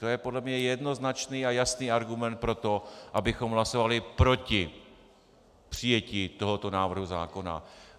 To je podle mě jednoznačný a jasný argument pro to, abychom hlasovali proti přijetí tohoto návrhu zákona.